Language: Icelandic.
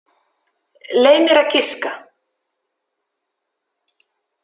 Leyf mér að giska.